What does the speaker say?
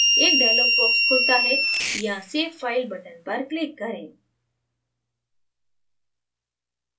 एक dialog box खुलता है यहाँ save file button पर click करें